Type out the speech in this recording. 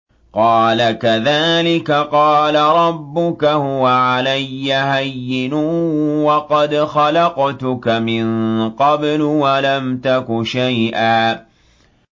قَالَ كَذَٰلِكَ قَالَ رَبُّكَ هُوَ عَلَيَّ هَيِّنٌ وَقَدْ خَلَقْتُكَ مِن قَبْلُ وَلَمْ تَكُ شَيْئًا